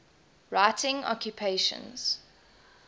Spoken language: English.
writing occupations